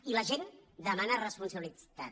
i la gent demana responsabilitat